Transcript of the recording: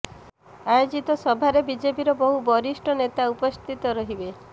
ଆୟୋଜିତ ସଭାରେ ବିଜେପିର ବହୁ ବରିଷ୍ଠ ନେତା ଉପସ୍ଥିତ ରହିବେ